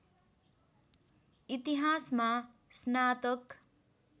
इतिहासमा स्नातक